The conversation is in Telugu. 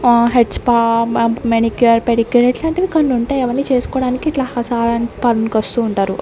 ఆ హెడ్స్ స్పా మెనిక్యూర్ పెడిక్యూర్ ఇలాంటివి కొన్ని ఉంటాయి అవ్వని చేస్కొడానికి ఇట్లా ఓ సారీ పార్లర్ కి వస్తూ ఉంటారు.